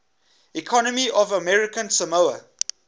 economy of american samoa